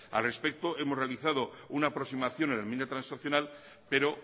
a respecto hemos realizado una aproximación en la enmienda transaccional pero